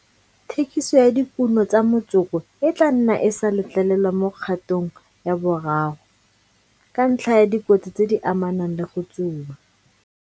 Thekiso ya dikuno tsa motsoko e tla nna e sa letlelelwa mo kgatong ya boraro, ka ntlha ya dikotsi tse di amanang le go tsuba.